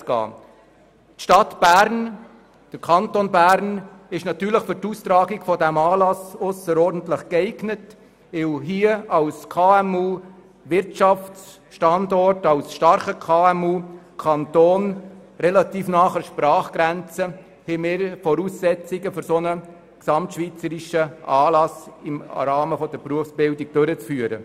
Die Stadt Bern und der Kanton Bern sind natürlich für die Austragung dieses Anlasses ausserordentlich geeignet, weil wir hier als KMU-Wirtschaftsstandort relativ nahe der Sprachgrenze mehrere Voraussetzungen dafür mitbringen, einen derartigen gesamtschweizerischen Anlass im Rahmen der Berufsbildung durchzuführen.